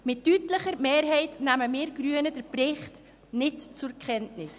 Mit deutlicher Mehrheit nehmen wir Grünen den Bericht nicht zur Kenntnis.